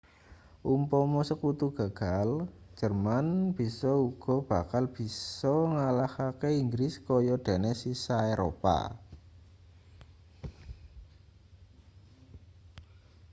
upama sekutu gagal jerman bisa uga bakal bisa ngalahake inggris kaya dene sisa eropa